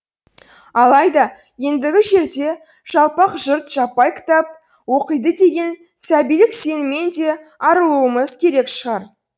алайда ендігі жерде жалпақ жұрт жаппай кітап оқиды деген сәбилік сенімнен де арылуымыз керек шығар